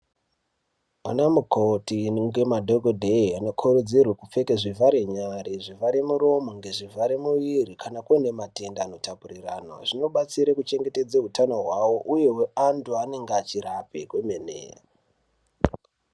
Ana mukoti ngemadhogodheya anokurudzirwe kupfeke zvivhare nyare, zvivhare muromo ngezvivhare muviri kana kuine matenda anotapuriranwa. Zvinobatsire kuchengetedza hutano hwavo, uye hweantu anenge achirape kwemene.